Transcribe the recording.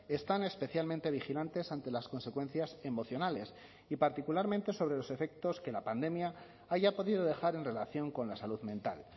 están especialmente vigilantes ante las consecuencias emocionales y particularmente sobre los efectos que la pandemia haya podido dejar en relación con la salud mental